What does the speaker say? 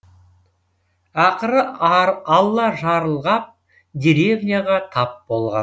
ақыры алла жарылғап деревняға тап болған